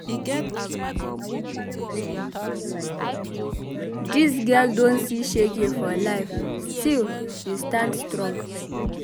Dis girl don see shege for life still she stand strong.